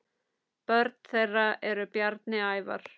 Börn þeirra eru Bjarni Ævar.